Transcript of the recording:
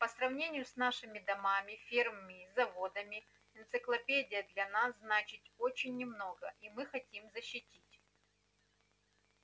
по сравнению с нашими домами фермами и заводами энциклопедия для нас значит очень немного и мы хотим защитить